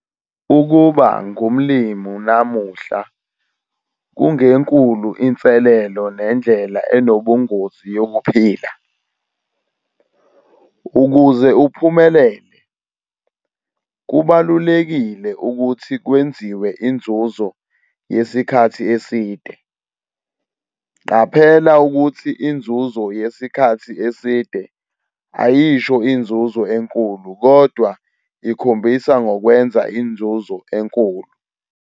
UKUBA NGUMLIMI NAMUHLA KUNGENKULU INSELELO NENDLELA ENOBUNGOZI YOKUPHILA. UKUZE UPHUMELELE, KUBALULEKILE UKUTHI KWENZIWE INZUZO YESIKHATHI ESIDE. QAPHELA UKUTHI INZUZO YESIKHATHI ESIDE AYISHO INZUZO ENKULU KODWA IKHOMBISA NGOKWENZA INZUZO ENKULU.